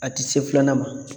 A tɛ se filanan ma